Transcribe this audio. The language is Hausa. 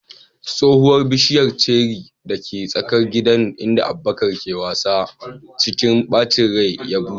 Tsohuwar bishiyar ceri dake tsakar gida inda Abubakar yake wasa, cikin bacin rai ya bushe.